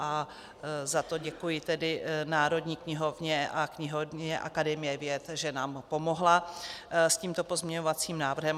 A za to děkuji tedy Národní knihovně a knihovně Akademie věd, že nám pomohly s tímto pozměňovacím návrhem.